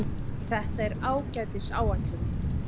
Þetta er ágætis áætlun.